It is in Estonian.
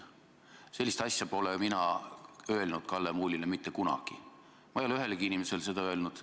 Sellist asja pole mina Kalle Muulile mitte kunagi öelnud, ma ei ole ühelegi inimesele seda öelnud.